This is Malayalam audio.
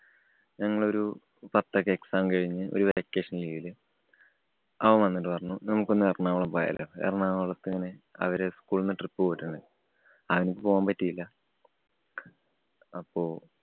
ഞങ്ങള് ഒരു പത്ത് ഒക്കെ exam കഴിഞ്ഞു ഒരു vacation ല് അവന്‍ വന്നിട്ടു പറഞ്ഞു. നമുക്കൊന്ന് ഏറണാകുളം പോയാലോ. എറണാകുളത്ത് ഇങ്ങനെ അവര് school ന്ന് trip പോയിട്ടുണ്ട്. അവന്ക്ക് പോവാന്‍ പറ്റിയില്ല. അപ്പൊ